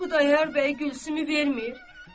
Xudayar bəy Gülsümü vermir.